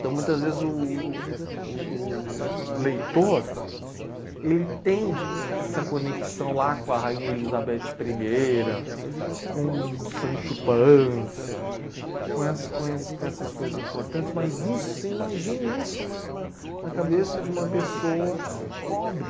Então, muitas vezes, o o o o o leitor, ele tem essa conexão lá com a Rainha Elizabeth Primeira, com o Sancho Pança, com ess com esse com essas coisas importantes, mas isso, você imagine isso na na na cabeça de uma pessoa pobre.